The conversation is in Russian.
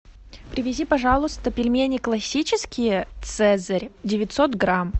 привези пожалуйста пельмени классические цезарь девятьсот грамм